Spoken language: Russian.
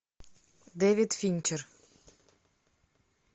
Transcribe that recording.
дэвид финчер